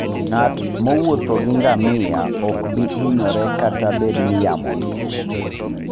Ng'at mowuotho gi ngamia ok bi hinyore kata bed ni yamo ng'ich.